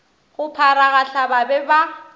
go pharagahla ba be ba